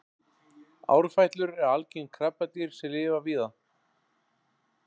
árfætlur eru algeng krabbadýr sem lifa víða